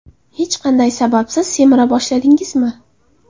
Hech qanday sababsiz semira boshladingizmi?